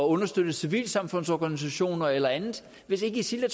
understøtte civilsamfundsorganisationer eller andet hvis ikke isil er